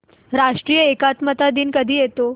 राष्ट्रीय एकात्मता दिन कधी येतो